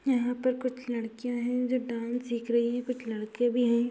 यहाँ पर कुछ लड़कियां हैं जो डांस सीख रहीं हैं कुछ लड़के भी हैं।